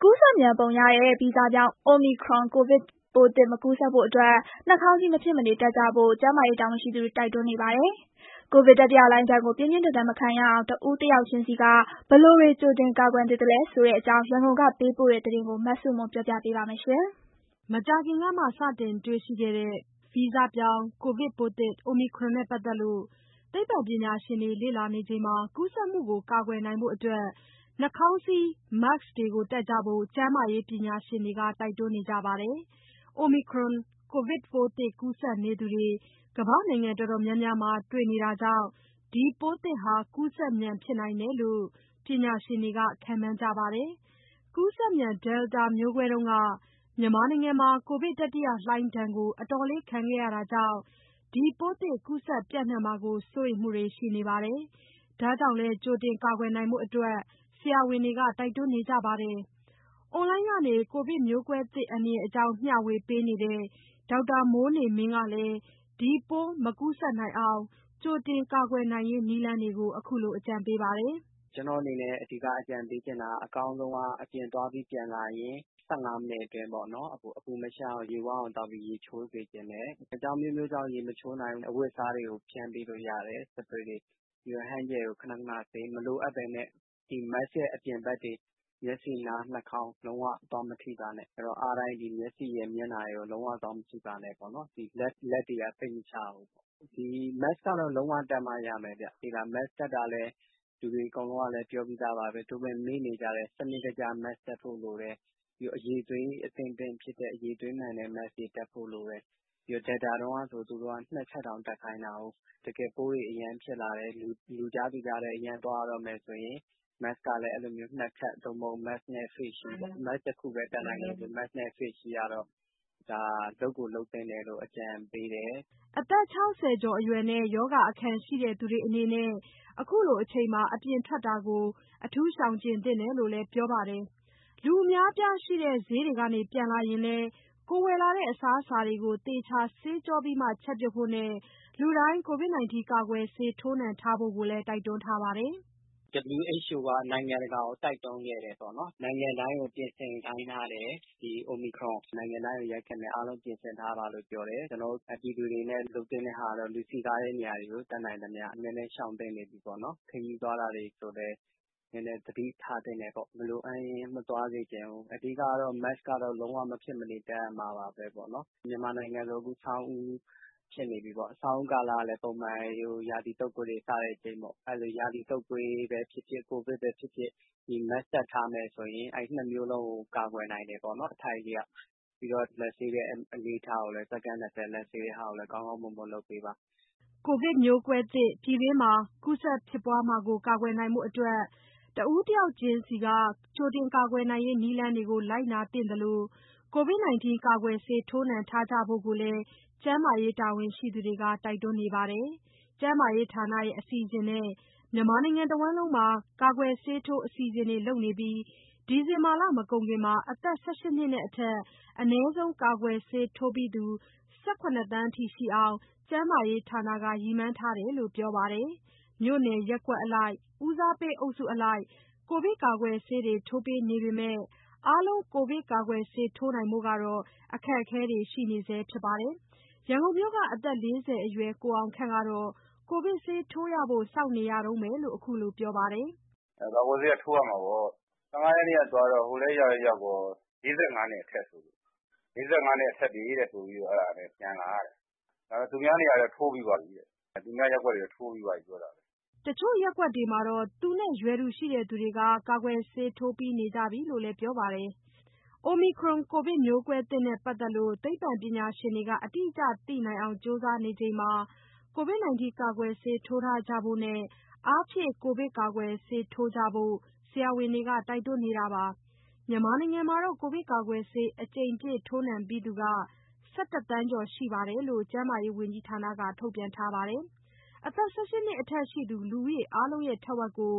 ကူးစက်မြန်ပုံရတဲ့ ဗီဇပြောင်း Omicron ကိုဗစ်ပိုးသစ် မကူးစက်ဖို့ နှာခေါင်းစည်း မဖြစ်မနေတပ်ကြဖို့ ကျန်းမာရေးတာဝန်ရှိသူတွေ တိုက်တွန်းနေပါတယ်။ ကိုဗစ်တတိယလှိုင်းဒဏ်လို ပြင်းပြင်းထန်ထန် မခံရအောင် တဦးတယောက်ချင်းဆီက ဘယ်လိုတွေကြိုတင် ကာကွယ်သင့်သလဲဆိုတဲ့အကြောင်း ရန်ကုန်က ပေးပို့တဲ့သတင်းကိုမဆုမွန်က တင်ပြပေးထားပါတယ်။ မကြာခင်ကမှ စတင်တေ့ွရှိတဲ့ ဗီဇပြောင်းကိုဗစ်ပိုးသစ် Omicron နဲ့ပတ်သက်လို့ သိပ္ပံပညာရှင်တွေ လေ့လာနေချိန်မှာ ကူးစက် မှု ကာကွယ်နိုင်ဖို့ နှာခေါင်းစည်း Mask တပ်ကြဖို့ ကျန်းမာရေးပညာရှင်တွေက တိုက်တွန်းနေကြပါတယ်။ Omicron ကိုဗစ်ပိုးသစ်ကူးစက်နေသူတွေ ကမ္ဘာ့နိုင်ငံတော်တော်များများမှာ တွေ့ရှိနေတာကြောင့် ဒီပိုးသစ်ဟာ ကူးစက်မြန်ဖြစ်နိုင်တယ်လို့ ပညာရှင်တွေ ခန့်မှန်းကြေပါတယ်။ ကူးစက်မြန် Delta မျိုးကွဲတုန်းက မြန်မာနိုင်ငံမှာ ကိုဗစ်တတိယလှိုင်းဒဏ်ကို အတော်လေး ခံခဲ့ရတာကြောင့် ပိုးသစ်ကူးစက်ပျံ့နှံ့မှာကို စိုးရိမ်မှုတွေလည်း ရှိနေပါတယ်။ ဒါကြောင့်လည်း ကြိုတင်ကာကွယ်နိုင်ဖို့ ဆရာဝန်တွေက တိုက်တွန်းနေကြပါတယ်။ အွန်လိုင်းကနေ ကိုဗစ်မျိုးကွဲသစ်အန္တရာယ်အကြောင်း မျှဝေပေးနေတဲ့ ဒေါက်တာမိုးနေမင်းကလည်း ဒီပိုးမကူးစက်နိုင်အောင် ကြိုတင်ကာကွယ်ရေးနည်းလမ်းတွေကို အခုလို အကြံပေးထားပါတယ်။ "ကျနော့်အနေနဲ့ အဓိကအကြံပေးချင်တာက အကောင်းဆုံးက အပြင်သွားပြီးပြန်လာရင် ၁၅ မိနစ်အတွင်းပေါ့နော်၊ အပူမရှပ်အောင် ရေဝအောင်သောက်ပြီး ရေချိုးစေချင်တယ်။ အကြောင်းအမျိုးမျိုးကြောင့် ရေမချိုးနိုင်ဘူးဆို အဝတ်အစားတွေကို spray ဖျန်းပေးလို့ရတယ်။ ပြီးတော့ hand gel နဲ့ ခဏခဏဆေး။ မလိုအပ်ဘဲနဲ့ Mask ရဲ့အပြင်ဘက်တွေ၊ မျက်စိ၊ နား၊ နှာခေါင်း လုံးဝ သွားမထိပါနဲ့။ အားတိုင်း မျက်စိရယ်၊ မျက်နှာရယ်ကိုတော့ လုံးဝသွားမထိပါနဲ့ပေါ့နော်၊ လက်တွေက စိတ်မချရဘူး။ Mask ကတော့ လုံးဝတပ်မှရမယ်ဗျ။ Mask တပ်တာကလည်း လူတွေအကုန်လုံးကလည်း ပြောပြီးသားပါ။ သို့ပေမယ့် မေ့နေကြတယ်၊ စနစ်တကျ Mask တပ်ဖို့လိုတယ်။ ပြီးတော့ အရည်အသွေးအသင့်အတင့်ဖြစ်တဲ့ အရည်အသွေးမှန်တဲ့ Mask တွေ ဖြစ်ဖို့လိုတယ်။ Delta တုန်းကဆို သူတို့က နှစ်ထပ်တောင်တပ်ခိုင်းတာကို။ တကယ်ပိုးတွေ အရမ်းဖြစ်လာတယ်၊ လူကြားသူကြားထဲ အရမ်းသွားရတော့မယ်ဆိုရင် Mask နှစ်ထပ် သို့မဟုတ် Mask နဲ့ Face shield ကတော့ လုပ်ကိုလုပ်သင့်တယ်လို့ အကြံပေးတယ်။" အသက် ၆၀ ကျော်အရွယ်နဲ့ ရောဂါအခံရှိသူတွေအနေနဲ့ အခုလိုအချိန်မှာ အပြင်ထွက်တာကို ရှောင်ကြဉ်သင့်တယ်လို့လည်း ပြောပါတယ်။ လူအများအပြားရှိတဲ့ ဈေးကနေပြန်လာရင်လည်း ဝယ်လာတဲ့အစားအစာတွေကို သေချာဆေးကြောပြီးမှ ချက်ပြုတ်ဖို့နဲ့ လူတိုင်း ကာကွယ်ဆေးထိုးနှံဖို့ကိုလည်း တိုက်တွန်းထားပါတယ်။ "WHO က နိုင်ငံတကာကို တိုက်တွန်းခဲ့တယ်ပေါ့နော်၊ နိုင်ငံတိုင်းကို ပြင်ဆင်ခိုင်းထားတယ်။ ဒီ Omicron နိုင်ငံတိုင်းကို ရိုက်ခတ်မယ်၊ အားလုံးပြင်ဆင်ထားပါလို့ ပြောတယ်။ ကျနော်တို့ ပြည်သူတွေအနေနဲ့ လုပ်သင့်တဲ့ဟာကတော့ လူစည်ကားတဲ့နေ ရာတွေကို တတ်နိုင်သမျှ နည်းနည်းရှောင်သင့်နေပြီပေါ့နော်။ ခရီးသွားတာတွေကိုလည်း နည်းနည်းသတိထားသင့်တယ်ပေါ့၊ မလိုအပ်ရင် မသွားစေချင်ဘူး။ အဓိက ကတော့ Mask ကတော့ လုံးဝမဖြစ်မနေ တပ်ရမှာပါပဲပေါ့နော်။ မြန်မာနိုင်ငံဆို အခုဆောင်းဦးဖြစ်နေပြီပေါ့။ ဆောင်းဦးကာလကလည်း ပုံမှန် ရာသီတုပ်ကွေးတွေ စတဲ့အချိန်ပေါ့။ အဲတော့ ရာသီတုပ်ကွေးပဲဖြစ်ဖြစ်၊ ကိုဗစ်ပဲဖြစ်ဖြစ် ဒီ Mask တပ်ထားမယ်ဆိုရင် နှစ်မျိုးလုံးကို အထိုက်အလျောက်ကာကွယ်တယ်ပေါ့နော်။ ပြီးတော့ လက်ဆေးတဲ့အလေ့အထကိုလည်း စက္ကန့် ၂၀ လက်ဆေးတဲ့အလေ့အထကိုလည်း ကောင်းကောင်းမွန်မွန်လုပ်ပေးပါ။" ကိုဗစ်မျိုးကွဲသစ် ပြည်တွင်းမှာ ကူးစက်ဖြစ်ပွားမှုကို ကာကွယ်နိုင်ဖို့ တဦးတယောက်ချင်းစီက ကြိုတင်ကာကွယ်ရေးနည်းလမ်းတွေကို လိုက်နာသင့်သလို ကာကွယ်ဆေးထိုးနှံကြဖို့ကိုလည်း ကျန်းမာရေးတာဝန်ရှိသူတွေက တိုက်တွန်းနေတာပါ။ ကျန်းမာရေးဌာနရဲ့ အစီအစဉ်နဲ့ မြန်မာနိုင်ငံတဝန်း ကာကွယ်ဆေးထိုးအစီအစဉ်တွေ လုပ်နေပြီး ဒီဇင်ဘာလ မကုန်ခင် ၁၈ နှစ်နဲ့အထက် အနည်းဆုံးကာကွယ်ဆေးထိုးပြီးသူ ၁၇ သန်းအထိရှိအောင် ကျန်းမာရေးဌာနက ရည်မှန်းထားလို့ ပြောထားပါတယ်။ မြို့နယ် ရပ်ကွက်အလိုက် ဦးစားပေးအုပ်စုအလိုက် ကိုဗစ်ကာကွယ်ဆေးတွေ ထိုးပေးနေပေမဲ့ အားလုံး ကာကွယ်ဆေးထိုးနိုင်ဖို့ အခက်အခဲတွေတော့ ရှိနေစဲဖြစ်ပါတယ်။ ရန်ကုန်မြို့က အသက် ၄၀ အရွယ် ကိုအောင်ခန့်ကတော့ ကာကွယ်ဆေးထိုးရဖို့ စောင့်နေရ တုန်းပဲလို ခုလိုပြောပါတယ်။ "ကာကွယ်ဆေးက ထိုးရမှာပေါ့။ ၁၅ ရက်နေ့ကသွားတော့ ဟိုလည်းရောက်ရော ၄၅ နှစ်အထက်တွေဆိုလို့ အဲဒါပြန်လာရတယ်။ ဒါပေမယ့် သူများရပ်ကွက်တွေကတော့ ထိုးပြီးသွားပြီ ပြောတာပဲ။" တချို့ရပ်ကွက်တွေမှာတော့ သူနဲ့ရွယ်တူရှိသူတွေ ကာကွယ်ဆေးထိုးပြီးနေကြပြီလို့ လည်းပြောပါတယ်။ Omicron ကိုဗစ်မျိုးကွဲသစ်နဲ့ပတ်သက်လို့ သိပ္ပံပညာရှင်တွေက အတိအကျသိနိုင်အောင် ကြိုးစားနေချိန်မှာ ကိုဗစ်ကာကွယ်ဆေးထိုးကြဖို့နဲ့ အားဖြည့်ကိုဗစ်ကာကွယ်ဆေး ထိုးကြဖို့ ဆရာဝန်တွေက တိုက်တွန်းနေတာပါ။ မြန်မာနိုင်ငံမှာတော့ ကိုဗစ်ကာကွယ်ဆေးအကြိမ်ပြည့် ထိုးနှံပြီးသူက ၁၁ သန်းကျော်ရှိတယ်လို့ ကျန်းမာရေးဝန်ကြီးဌာနက ထုတ်ပြန်ထားပါတယ်။ အသက် ၁၈ နှစ်အထက်ရှိသူ လူဦးရေအားလုံးရဲ့ ထက်ဝက်ကို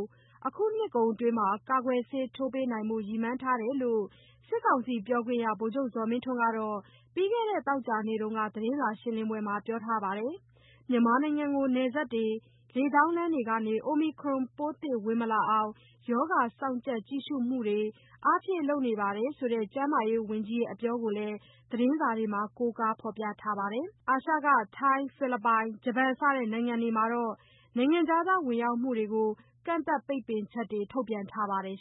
အခုနှစ်ကုန်အတွင်း ကာကွယ်ဆေးထိုးပေးနိုင်ဖို့ ရည်မှန်းထားတယ်လို့ စစ်ကောင်စီပြောခွင့်ရ ဗိုလ်ချုပ်ဇော်မင်းထွန်းက ပြီးခဲ့တဲ့ သောကြာနေ့တုန်းက သတင်းစာရှင်းပွဲမှာ ပြောထားပါတယ်။ မြန်မာနိုင်ငံကို နယ်စပ်တွေ၊ လေကြောင်းလမ်းတွေကနေ Omicron ပိုးသစ် ဝင်မလာအောင် ရောဂါေစောင့်ကြပ် ကြည့်ရှုမှုတွေ အားဖြည့်လုပ်နေတယ်ဆိုတဲ့ ကျန်းမာရေးဝန်ကြီးရဲ့ အပြောကိုလည်း သတင်းစာတွေထဲမှာ ကိုးကားဖော်ပြထားပါတယ်။ အာရှက ထိုင်း၊ ဖိလစ်ပိုင်၊ ဂျပန်စတဲ့နိုင်ငံတွေမှာတော့ နိုင်ငံခြားသားဝင်ရောက်မှုတွေကို ကန့်သတ် ပိတ်ပင်ချက်တွေ ထုတ်ပြန်ထားပါတယ်